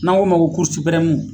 N'an ko ma ko